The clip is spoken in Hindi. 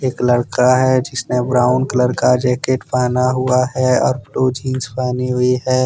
एक लड़का हैजिसने ब्राउन कलर का जैकेट पहना हुआ है और ब्लू जींस पहनी हुई है।